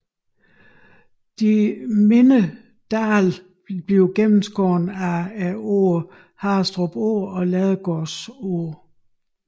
Disse mindre dale gennemskæres af åerne Harrestrup Å og Ladegårdsåen